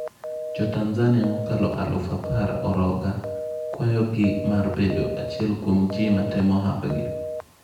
Jotanzania mokalo aluf apar oroga kwayogi mar bedo achiel kuom ji matemo hapgi.